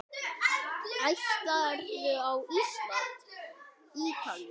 Ætlarðu á Ísland- Ítalía?